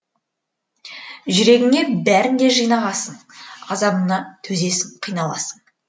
жүрегіңе бәрін де жинағасын азабына төзесің қиналасың